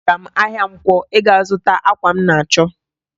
Agara m ahịa nkwọ ịga zụta akwa m na-achọ